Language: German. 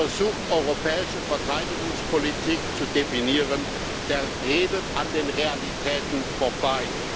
Wer so versucht, europäische Verteidigungspolitik zu definieren, der redet an den Realitäten vorbei.